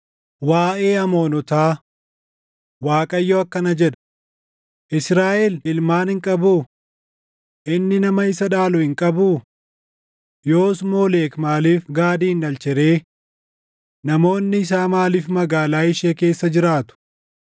Waaʼee Amoonotaa: Waaqayyo akkana jedha: “Israaʼel ilmaan hin qabuu? Inni nama isa dhaalu hin qabuu? Yoos Moolek maaliif Gaadin dhalche ree? Namoonni isaa maaliif magaalaa ishee keessa jiraatu?